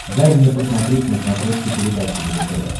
дай мне посмотреть на смотрешке передачу его тв